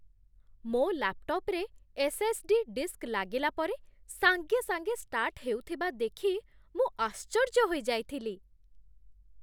ମୋ ଲାପ୍‌ଟପ୍‌ରେ SSD. Disk ଲାଗିଲା ପରେ ସାଙ୍ଗେସାଙ୍ଗେ ଷ୍ଟାର୍ଟ ହେଉଥିବା ଦେଖି ମୁଁ ଆଶ୍ଚର୍ଯ୍ୟ ହୋଇଯାଇଥିଲି।